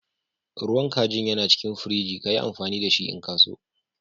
Ruwan kajin yana cikin firiji. Ka yi amfani da shi n'ka so.